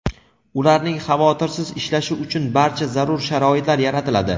ularning xavotirsiz ishlashi uchun barcha zarur sharoitlar yaratiladi.